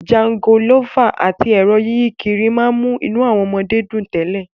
Jangolófà àti ẹ̀rọ yíyí kiri mú inú àwọn ọmọdé dùn tẹ́lẹ̀